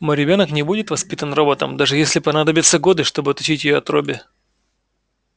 мой ребёнок не будет воспитан роботом даже если понадобятся годы чтобы отучить её от робби